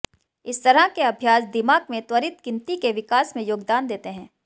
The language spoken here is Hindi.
इस तरह के अभ्यास दिमाग में त्वरित गिनती के विकास में योगदान देते हैं